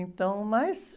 Então, mas...